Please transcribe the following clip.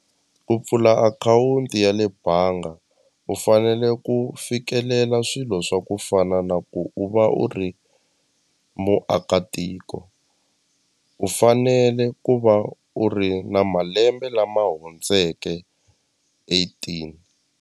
Ku pfula akhawunti ya le banga u fanele ku fikelela swilo swa ku fana na ku u va u ri muakatiko u fanele ku va u ri na malembe lama hundzeke eighteen.